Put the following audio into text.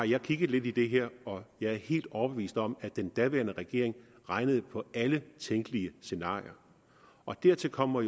jeg kigget lidt i det her og jeg er helt overbevist om at den daværende regering regnede på alle tænkelige scenarier dertil kommer